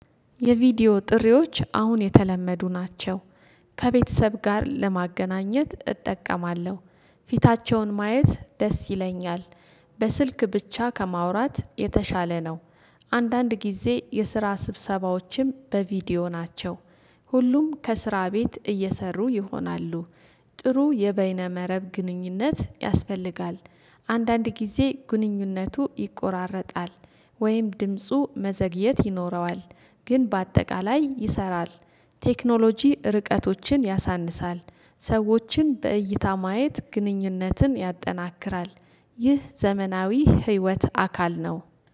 የቪዲዮ ጥሪዎች አሁን የተለመዱ ናቸው ከቤተሰብ ጋር ለማገናኘት እጠቀማለሁ ፊታቸውን ማየት ደስ ይለኛል። በስልክ ብቻ ከማውራት የተሻለ ነው። አንዳንድ ጊዜ የስራ ስብሰባዎችም በቪዲዮ ናቸው። ሁሉም ከስራ ቤት እየሰሩ ይሆናሉ ጥሩ የበይነ መረብ ግንኙነት ያስፈልጋል። አንዳንድ ጊዜ ግንኙነቱ ይቆራረጣል ወይም ድምፁ መዘግየት ይኖረዋል ግን በአጠቃላይ ይሰራ። ቴክኖሎጂ ርቀቶችን ያሳንሳል ሰዎችን በእይታ ማየት ግንኙነትን ያጠናክራል ይህ ዘመናዊ ህይወት አካል ነው